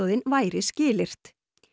væri skilyrt